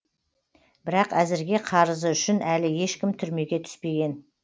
бірақ әзірге қарызы үшін әлі ешкім түрмеге түспеген